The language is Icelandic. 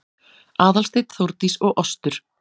Aðalsteinn, Þórdís og Ostur